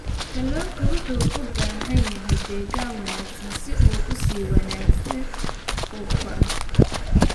Kalluunku wuxuu u baahan yahay deegaan wanaagsan si uu si wanaagsan u koro.